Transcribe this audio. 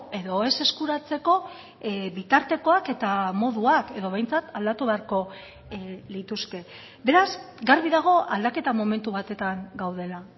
edo ez eskuratzeko bitartekoak eta moduak edo behintzat aldatu beharko lituzke beraz garbi dago aldaketa momentu batetan gaudela